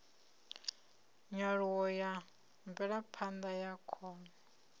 nyaluho ya mvelaphanda ya khono